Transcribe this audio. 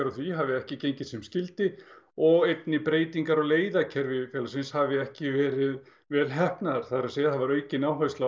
á því hafi ekki gengið sem skyldi og einnig breytingar á leiðakerfi félagsins hafi ekki verið vel heppnaðar það er að segja það var aukin áhersla á